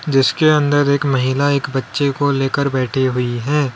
जिसके अंदर एक महिला एक बच्चे को लेकर बैठे हुई।